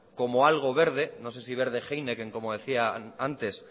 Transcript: como algo verde no sé si verde heineken como decían antes